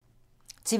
TV 2